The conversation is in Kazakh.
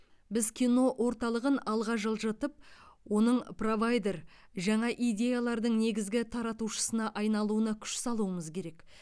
біз кино орталығын алға жылжытып оның провайдер жаңа идеялардың негізгі таратушысына айналуына күш салуымыз керек